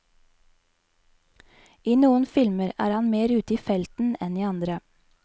I noen filmer er han mer ute i felten enn i andre.